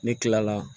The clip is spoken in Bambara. Ne kila la